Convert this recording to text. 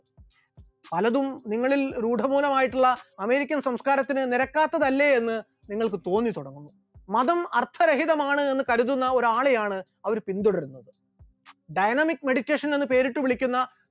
പലതും നിങ്ങളിൽ രൂഢ ഭൂനമായിട്ടുള്ള അമേരിക്കൻ സംസ്കാരത്തിന് നിരക്കാത്തതല്ലേ എന്ന് നിങ്ങൾക്ക് തോന്നിത്തുടങ്ങും, മതം അർത്ഥരഹിതമാണ് എന്ന് കരുതുന്ന ഒരാളെയാണ് അവർ പിന്തുടരുന്നത്, dynamic meditation എന്ന് പേരിട്ടുവിളിക്കുന്ന